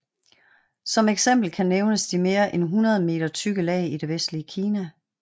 Som eksempel kan nævnes de mere end 100 m tykke lag i det vestlige Kina